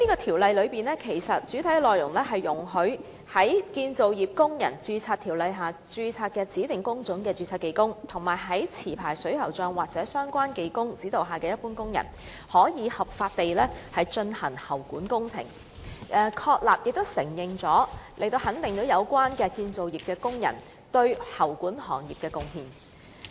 《條例草案》的主體內容，是有關容許在《建造業工人註冊條例》下註冊的指定工種的註冊技工及在持牌水喉匠或相關技工指導下的一般工人，可以合法地進行喉管工程，從而肯定有關的建造業工人對喉管行業的貢獻。